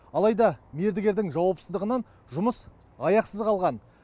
алайда мердігердің жауапсыздығынан жұмыс аяқсыз қалған